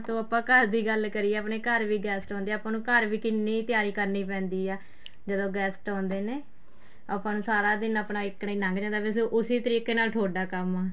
ਤੋਂ ਆਪਾਂ ਘਰ ਦੀ ਗੱਲ ਕਰੀਏ ਆਪਣੇ ਘਰ ਵੀ guest ਆਉਦੇ ਹਾਂ ਆਪਾਂ ਨੂੰ ਘਰ ਵੀ ਕਿੰਨੀ ਤਿਆਰੀ ਕਰਨੀ ਪੈਂਦੀ ਆ ਜਦੋਂ guest ਆਉਦੇ ਨੇ ਆਪਾਂ ਨੂੰ ਸਾਰਾ ਦਿਨ ਆਪਣਾ ਇਸ ਤਰ੍ਹਾਂ ਹੀ ਲੱਗ ਜਾਂਦਾ ਵੈਸੇ ਉਸੀ ਤਰੀਕੇ ਨਾਲ ਤੁਹਾਡਾ ਕੰਮ ਆ